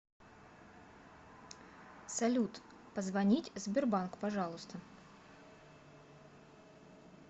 салют позвонить сбербанк пожалуйста